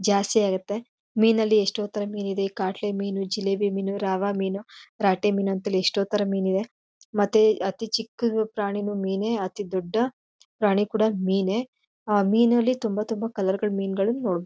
ಜಾಸ್ತಿ ಆಗತ್ತೆ ಮೀನ್ ಅಲ್ಲಿ ಎಷ್ಟೋ ಥರ ಮೀನ್ ಇದೆ. ಕಾಟ್ಲೆ ಮೀನು ಜಿಲೇಬಿ ಮೀನು ರಾವ ಮೀನು ರಾಟೆ ಮೀನು ಅಂತ ಹೇಳಿ ಎಷ್ಟೋ ಥರ ಮೀನ್ ಇವೆ. ಮತ್ತೆ ಅತಿ ಚಿಕ್ಕು ಪ್ರಾಣೀನೂ ಮೀನೇ ಮತ್ತೆ ಅತಿ ದೊಡ್ಡ ಪ್ರಾಣಿ ಕೂಡ ಮೀನೇ. ಆ ಮೀನ್ ಅಲ್ಲಿ ತುಂಬಾ ತುಂಬಾ ಕಲರ್ ಗಳನ್ನ ನೋಡಬೋದು--